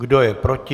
Kdo je proti?